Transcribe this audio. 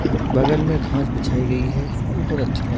बगल मे घास बिछायी गयी है बहुत अच्छा ल--